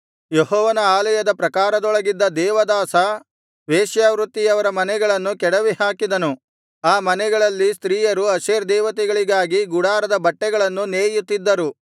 ಯೆಹೋವನ ಆಲಯದ ಪ್ರಾಕಾರದೊಳಗಿದ್ದ ದೇವದಾಸ ವೇಶ್ಯವೃತ್ತಿಯವರ ಮನೆಗಳನ್ನು ಕೆಡವಿಹಾಕಿಸಿದನು ಆ ಮನೆಗಳಲ್ಲಿ ಸ್ತ್ರೀಯರು ಅಶೇರ್ ದೇವತೆಗಳಿಗಾಗಿ ಗುಡಾರದ ಬಟ್ಟೆಗಳನ್ನು ನೇಯುತ್ತಿದ್ದರು